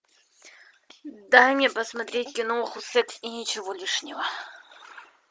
дай мне посмотреть киноху секс и ничего лишнего